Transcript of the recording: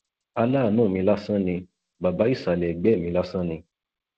aláàánú mi lásán ni bàbá ìsàlẹ ẹgbẹ mi lásán ni